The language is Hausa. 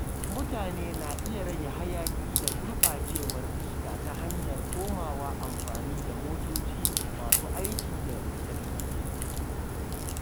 Mutane na iya rage hayaƙi da gurɓacewar iska ta hanyar komawa amfani da motoci masu aikin da lantarki.